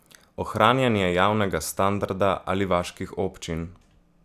Ohranjanje javnega standarda ali vaških občin?